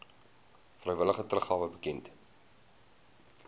vrywillige teruggawe bekend